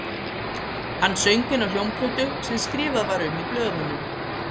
Hann söng inn á hljómplötu sem skrifað var um í blöðunum